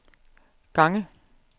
gange